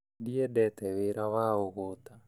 Ndiendete wĩra wa ũgũta